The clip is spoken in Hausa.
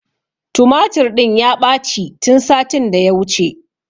Tumatur ɗin ya ɓaci tun satin da ya wuce